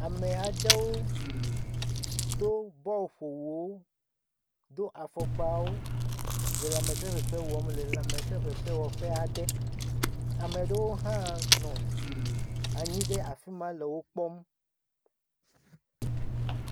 Ame aɖewo do bɔl ƒowuwo. Do afɔkpawo le lãmese fefe wɔm le lãmese fefewɔƒe aɖe. Ame aɖewo hã nɔ anyi ɖe afi ma le wo kpɔm.